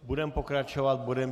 Budeme pokračovat bodem